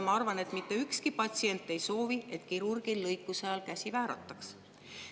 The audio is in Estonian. Ma arvan, et mitte ükski patsient ei soovi, et kirurgil lõikuse ajal käsi väärataks.